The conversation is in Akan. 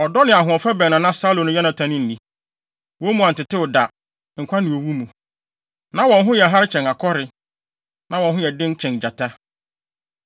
Ɔdɔ ne ahoɔfɛ bɛn na na Saulo ne Yonatan nni, wɔn mu antetew da, nkwa ne owu mu. Na wɔn ho yɛ hare kyɛn akɔre; na wɔn ho yɛ den kyɛn gyata.